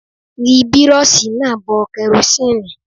Ri Bírọ́ọ̀ṣì náà bọ kerosíǹnì.!